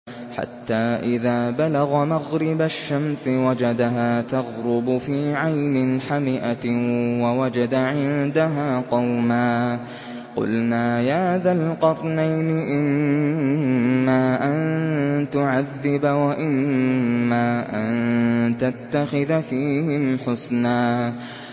حَتَّىٰ إِذَا بَلَغَ مَغْرِبَ الشَّمْسِ وَجَدَهَا تَغْرُبُ فِي عَيْنٍ حَمِئَةٍ وَوَجَدَ عِندَهَا قَوْمًا ۗ قُلْنَا يَا ذَا الْقَرْنَيْنِ إِمَّا أَن تُعَذِّبَ وَإِمَّا أَن تَتَّخِذَ فِيهِمْ حُسْنًا